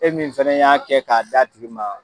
E min fɛnɛ y'a kɛ k'a d'a tigi ma